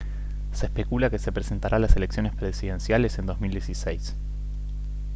se especula que se presentará a las elecciones presidenciales en 2016